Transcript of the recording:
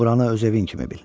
Buranı öz evin kimi bil.